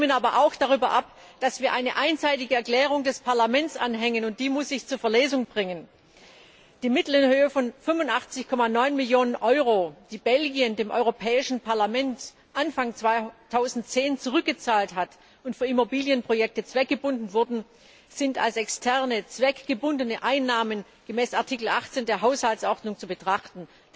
Sie stimmen aber auch darüber ab, dass wir eine einseitige Erklärung des Parlaments anhängen, und die muss ich zur Verlesung bringen Die Mittel in Höhe von 85,9 Millionen Euro, die Belgien dem Europäischen Parlament Anfang 2010 zurückgezahlt hat und die für Immobilienprojekte zweckgebunden wurden, sind als externe zweckgebundene Einnahmen gemäß Artikel 18 der Haushaltsordnung zu betrachten.